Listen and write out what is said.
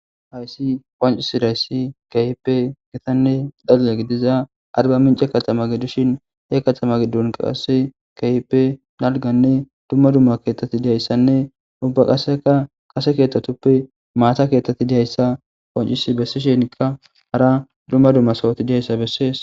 Hayssi qonccisidayisi kehippe gittane dalgganne giddiza arbbamincce katama giddishin he kattama giddon qase kehippe dalganne duma duma keththati dizayissanne ubba qase kasse keththatippe matta keththati dizayissa qonccisi bessishenikka hara duma duma sohoti dizayissa bessesi.